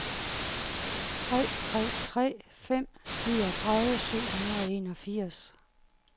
tre tre tre fem niogtredive syv hundrede og enogfirs